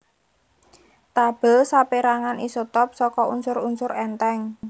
Tabèl sapérangan isotop saka unsur unsur èntheng